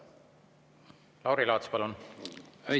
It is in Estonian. Lauri Laats, palun!